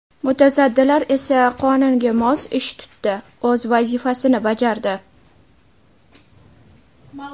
Mutasaddilar esa qonunga mos ish tutdi, o‘z vazifasini bajardi.